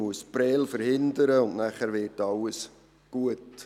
Man muss Prêles verhindern, und dann wird alles gut.